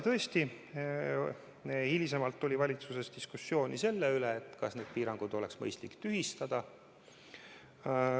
Tõesti, hiljem oli valitsuses diskussioon selle üle, kas need piirangud oleks mõistlik tühistada.